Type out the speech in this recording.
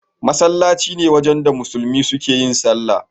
Masallaci ne wajen da musulmi suke yin sallah.